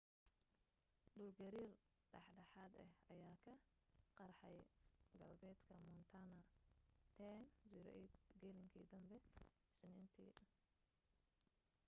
dhulgariir dhexdhexaad ah ayaa ka qarxay galbeedka montana 10:08 galin danbe isniintii